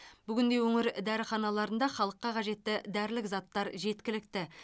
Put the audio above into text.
бүгінде өңір дәріханаларында халыққа қажетті дәрілік заттар жеткілікті